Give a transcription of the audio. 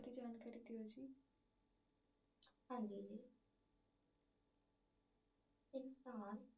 ਇਨਸਾਨ